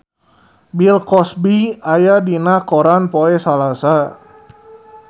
Bill Cosby aya dina koran poe Salasa